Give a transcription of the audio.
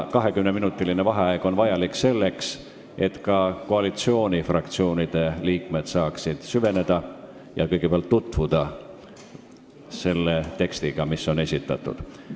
20-minutiline vaheaeg on vajalik selleks, et ka koalitsioonifraktsioonide liikmed saaksid süveneda ja esitatud tekstiga tutvuda.